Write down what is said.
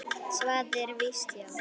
Svarið er víst já.